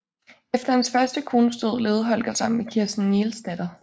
Efter hans første kones død levede Holger sammen med Kirsten Nielsdatter